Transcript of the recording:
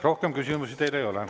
Rohkem küsimusi teile ei ole.